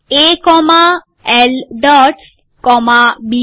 A comma L dots comma B